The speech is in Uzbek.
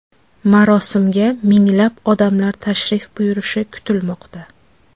Marosimga minglab odamlar tashrif buyurishi kutilmoqda.